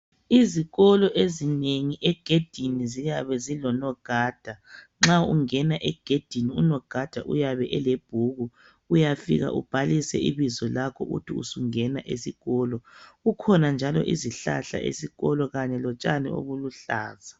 izikolo ezinengi egedini ziyabe zilonogada nxa ungena egedini unogada uyabe elebhuku uyafika ubhalise ibizo lakho uthi usungena esikolo kukhona njalo izihlahla ezikolo lotshani obuluhlaza